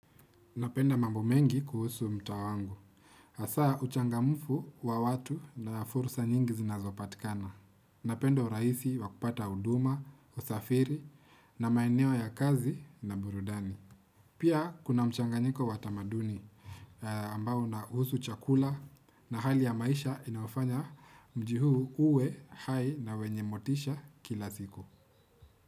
Napenda mambo mengi kuhusu mtaa wangu. Asaa uchangamfu wa watu na fursa nyingi zinazopatikana. Napenda uraisi wa kupata uduma, usafiri na maeneo ya kazi na burudani. Pia kuna mchanganyiko wa tamaduni ambao una usu chakula na hali ya maisha inaofanya mjii huu uwe hai na wenye motisha kila siku.